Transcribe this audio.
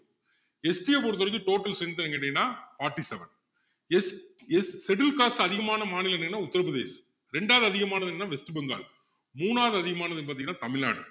ST அ பொறுத்தவரைக்கும் total strength என்னன்னு கேட்டீங்கன்னா forty-seven SS scheduled caste அதிகமான மாநிலம் என்னன்னா உத்தர பிரதேசம் ரெண்டாவது அதிகமானது என்னன்னா west bengal மூணாவது அதிகமானது எதுன்னு பாத்திங்கன்னா தமிழ்நாடு